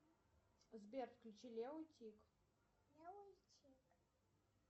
сбер включи лео и тиг